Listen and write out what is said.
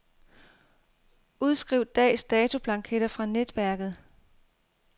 Udskriv dags datoblanketter fra netværket.